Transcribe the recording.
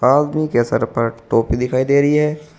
आदमी के सर पर टोपी दिखाई दे रही है।